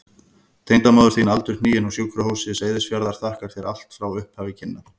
Tengdamóðir þín aldurhnigin, á Sjúkrahúsi Seyðisfjarðar, þakkar þér allt frá upphafi kynna.